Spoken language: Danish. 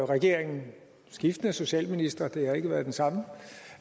regeringen og skiftende socialministre det har ikke været den samme